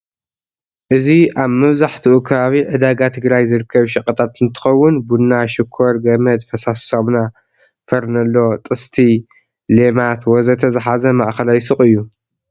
እዚ አብ መብዘሐትኡ ከባቢ ዕዳጋ ትግራይ ዝርከብ ሸቀጣት እንትኸውን ቡና፣ ሽኮር፣ ገመድ፣ ፈሳሲ ሳሙና፣ ፈርነሎ፣ ጥስጢ፣ ሌማት፣ ወዘተ ዝሐዘ ማእኸላይ ሹቅ እዩ።